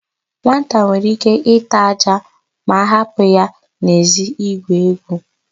Nwata nwere íké ịta ájá ma a hapụ ya n'èzí igwu égwù.